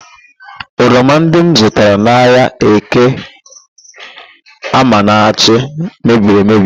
Oroma ndị m zụtara n'ahịa Eke Amanachi mebiri emebi